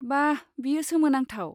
बा, बेयो सोमोनांथाव।